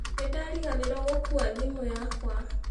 Nĩ ndariganĩirũo gũkua thimũ yakwa.